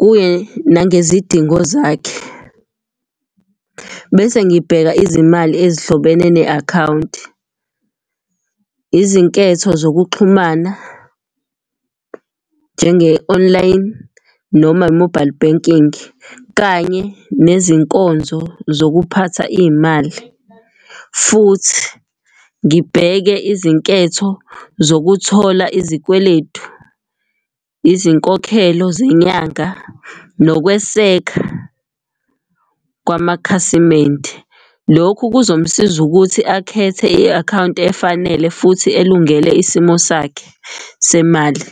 Kuye nangezidingo zakhe, bese ngibheka izimali ezihlobene ne-akhawunti, izinketho zokuxhumana njenge-online noma mobile banking, kanye nezinkonzo zokuphatha iy'mali. Futhi ngibheke izinketho zokuthola izikweletu, izinkokhelo zenyanga, nokweseka kwamakhasimende. Lokhu kuzomsiza ukuthi akhethe i-akhawunti efanele futhi elungele isimo sakhe semali.